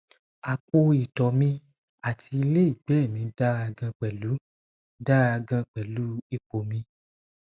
apo itọ̀ mi ati ile igbẹ́ mi dara gan pẹ̀lu dara gan pẹ̀lu ipo mi